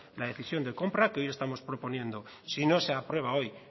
la decisión de compra que hoy estamos proponiendo si no se aprueba hoy